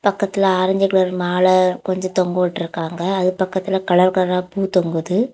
பக்கத்துல orange colour மாலை கொஞ்ச தொங்க வுட்ருகாங்க அதுக்கு பக்கத்துல கலர் கலரா பூ தொங்குது.